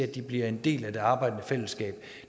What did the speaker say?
kan blive en del af det arbejdende fællesskab